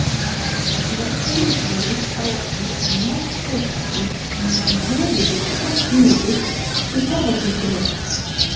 Karlinn leit á okkur mæddur á svip á meðan höfuðið gekk niður í herðakistilinn.